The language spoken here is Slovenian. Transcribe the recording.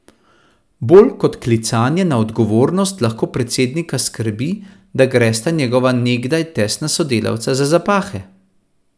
Bolj kot klicanje na odgovornost lahko predsednika skrbi, da gresta njegova nekdaj tesna sodelavca za zapahe.